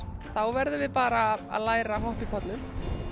þá verðum við bara að læra að hoppa í pollum